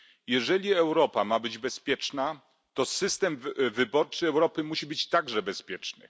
Jeżeli Europa ma być bezpieczna, to system wyborczy Europy musi być także bezpieczny.